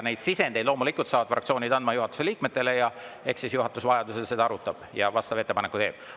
Loomulikult saavad fraktsioonid anda juhatuse liikmetele sisendeid ja eks siis juhatus vajadusel neid arutab ja vastava ettepaneku teeb.